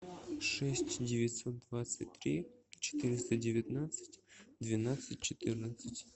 шесть девятьсот двадцать три четыреста девятнадцать двенадцать четырнадцать